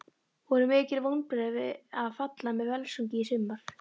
Voru mikil vonbrigði að falla með Völsungi í sumar?